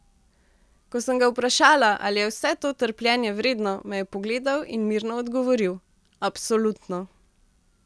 Ko sem ga vprašala, ali je vse to trpljenje vredno, me je pogledal in mirno odgovoril: 'Absolutno.